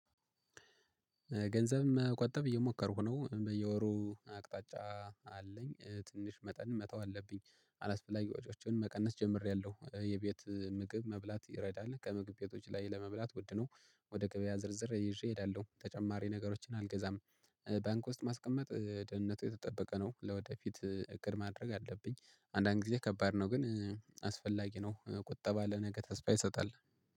ገንዘብ መቆጠብ እየሞከርኩ ነው በየወሩ አቅጣጫ አለኝ ትንሽ መጠን መተው አለብኝ አላስፈላጊ ወጪዎችን መቀነስ ጀምሬያለሁ የቤት ምግብ መብላት ይረዳል ከምግብ ቤቶች ላይ ለመብላት ውድ ነው። ወደ ገበያ ዝርዝር ይዤ እሄዳለሁ ተጨማሪ ነገሮችን አልገዛም። ባንክ ውስጥ ማስቀመጥ ደህንነቱ የተጠበቀ ነው ለወደፊት እቅድ ማድረግ አለብኝ። አንዳንድ ጊዜ ከባድ ነው ግን አስፈላጊ ነው። ቁጠባ ለነገ ተስፋ ይሰጣል።